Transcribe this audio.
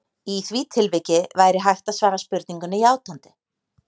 Í því tilviki væri hægt að svara spurningunni játandi.